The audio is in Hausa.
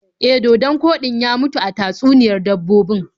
E, dodon koɗin ya mutu a tatsuniyar dabbobin.